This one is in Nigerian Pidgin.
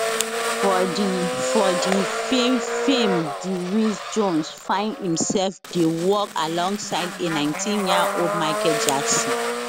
for di for di feem film di wiz jones find imself dey work alongside a nineteen year old michael jackson